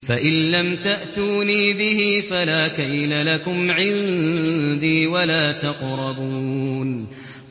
فَإِن لَّمْ تَأْتُونِي بِهِ فَلَا كَيْلَ لَكُمْ عِندِي وَلَا تَقْرَبُونِ